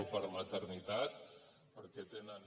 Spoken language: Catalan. o per maternitat perquè tenen